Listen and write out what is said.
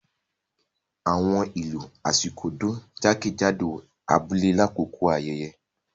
Awọn ilu Ashiko dun jakejado abule lakoko ayẹyẹ.